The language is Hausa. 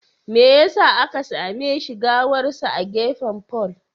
Me yasa aka same shi gawarsa a gefen fol?